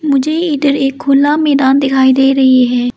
मुझे इधर एक खुला मैदान दिखाई दे रही है।